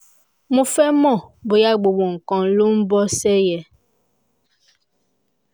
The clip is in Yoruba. mo fẹ́ mọ̀ bóyá gbogbo nǹkan ń lọ bó ṣe yẹ